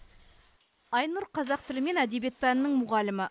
айнұр қазақ тілі мен әдебиет пәнінің мұғалімі